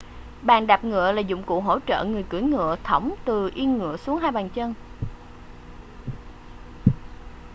bàn đạp ngựa là dụng cụ hỗ trợ người cưỡi ngựa thõng từ yên ngựa xuống hai chân